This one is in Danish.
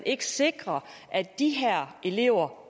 ikke sikres at de her elever